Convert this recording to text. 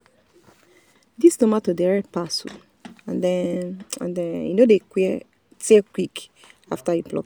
this tomato dey red pass and e and e no dey tear quick after you pluck am.